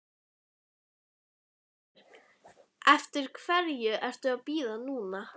Birta Björnsdóttir: Eftir hverju ertu að bíða núna?